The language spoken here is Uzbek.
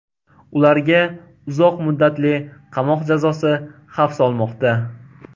Ularga uzoq muddatli qamoq jazosi xavf solmoqda.